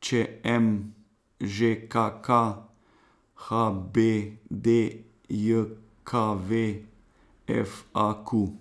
Č M; Ž K K; H B D J K V; F A Q.